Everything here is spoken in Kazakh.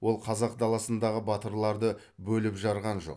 ол қазақ даласындағы батырларды бөліп жарған жоқ